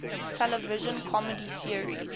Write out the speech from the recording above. television comedy series